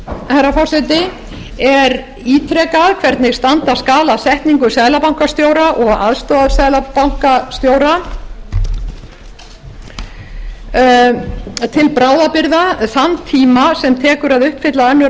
herra forseti er ítrekað hvernig standa skal að setningu seðlabankastjóra og aðstoðarseðlabankastjóra til bráðabirgða þann tíma sem tekur að uppfylla önnur